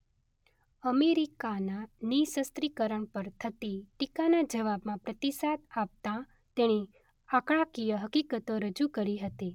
અમેરિકાના નિઃશસ્ત્રીકરણ પર થતી ટીકાના જવાબમાં પ્રતિસાદ આપતાં તેણે આંકડાકીય હકીકતો રજૂ કરી હતી.